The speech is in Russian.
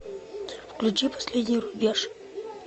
включи последний рубеж